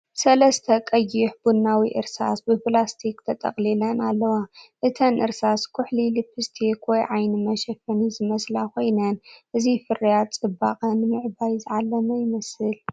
ሰለስተ ቀይሕ-ቡናዊ እርሳስ ብፕላስቲክ ተጠቕሊለን ኣለዋ። እተን እርሳስ ኩሕሊ ልፕስቲክ ወይ ዓይኒ መሸፈኒ ዝመስላ ኮይነን፡ እዚ ፍርያት ጽባቐ ንምዕባይ ዝዓለመ ይመስል።